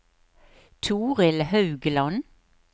Toril Haugland